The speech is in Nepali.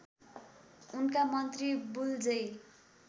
उनका मन्त्री वुल्जे